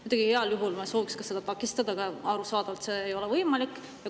Muidugi me sooviksime seda takistada, aga arusaadavalt ei ole see võimalik.